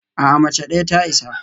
A'a, mace ɗaya ta isa